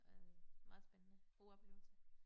Øh meget spændende god oplevelse